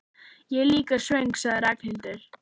Ég er líka svöng sagði Ragnhildur.